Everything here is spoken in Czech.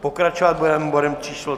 Pokračovat budeme bodem číslo